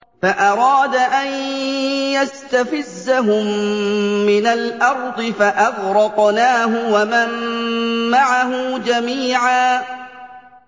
فَأَرَادَ أَن يَسْتَفِزَّهُم مِّنَ الْأَرْضِ فَأَغْرَقْنَاهُ وَمَن مَّعَهُ جَمِيعًا